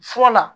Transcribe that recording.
Fɔlɔ